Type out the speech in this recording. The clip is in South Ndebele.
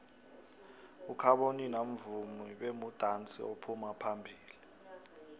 ukhabonino mvumi bemudansi ophuma phambilo